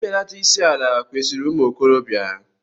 Mbelata isi ala kwesịrị ụmụ okorobịa.